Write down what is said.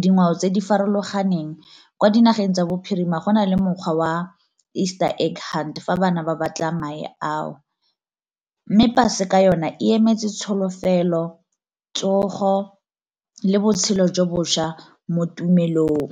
dingwao tse di farologaneng. Kwa dinageng tsa bophirima go nale mokgwa wa eastern egg hunt fa bana ba batla mae ao. Mme paseka yona emetse tsholofelo, tsogo, le botshelo jo bošwa mo tumelong.